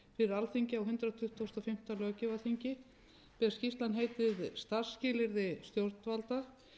alþingi á hundrað tuttugasta og fimmta löggjafarþingi skýrslan heitir starfsskilyrði stjórnvalda þar er að